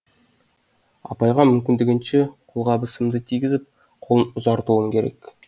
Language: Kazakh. апайға мүмкіндігінше қолғабысымды тигізіп қолын ұзартуым керек